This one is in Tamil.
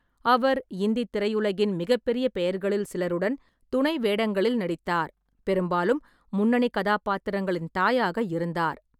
அவர் இந்தித் திரையுலகின் மிகப்பெரிய பெயர்களில் சிலருடன் துணை வேடங்களில் நடித்தார், பெரும்பாலும் முன்னணி கதாபாத்திரங்களின் தாயாக இருந்தார்.